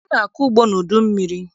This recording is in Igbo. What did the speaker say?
A na-akọ ugbo n'udummiri.